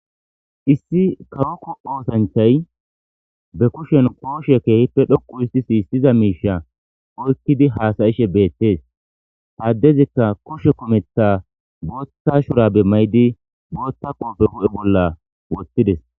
issi kawokko oosancthay be kushen kooshe keehippe dhoqu issi siyissiza miisha oykkidi haasayishe beettees haddezikka koshe kumetha bootta shurabe maydi bootta qooppe hu7e bolla wottides